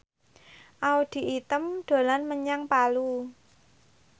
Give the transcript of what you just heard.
Audy Item dolan menyang Palu